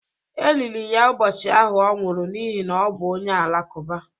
E liri ya ụbọchị ahụ ọ nwụrụ n’ihi na ọ bụ onye Alakụba.